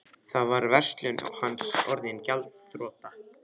Þá var verslun hans orðin gjaldþrota.